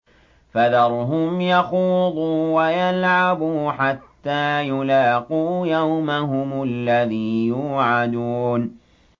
فَذَرْهُمْ يَخُوضُوا وَيَلْعَبُوا حَتَّىٰ يُلَاقُوا يَوْمَهُمُ الَّذِي يُوعَدُونَ